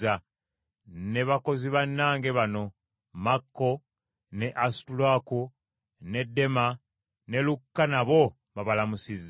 Ne bakozi bannange bano: Makko, ne Alisutaluuko, ne Dema, ne Lukka nabo babalamusizza.